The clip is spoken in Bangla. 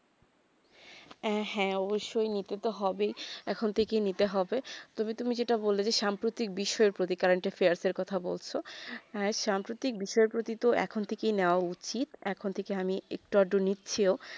এ হেঁ অৱশ্যে তো নিতে তো হবে ই এখন থেকে ই নিতে হবে তুমি তুমি যেটা বলেছে সাম্প্রতিক বিষয়ে প্রতিকারঃ current affairs এই কথা বলছো হেঁ সাম্প্রতিক বিষয়ে প্রতি তো এখন থেকে ই নেবা উচিত এখন থেকে আমি একটুও নিচিও